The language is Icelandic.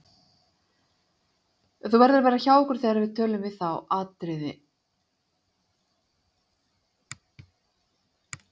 Þú verður að vera hjá okkur þegar við tölun við þá Atriði.